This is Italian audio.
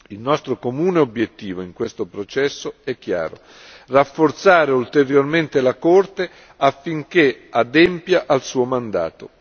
Il nostro comune obiettivo in questo processo è chiaro rafforzare ulteriormente la Corte affinché adempia al suo mandato.